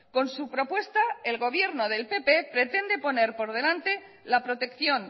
con su propuesta el gobierno del pp pretende poner por delante la protección